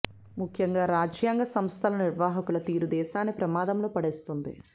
ముఖ్యంగా రాజ్యాంగ సంస్థల నిర్వాహకుల తీరు దేశాన్ని ప్రమాదంలో పడేస్తోంది